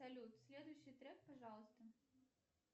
салют следующий трек пожалуйста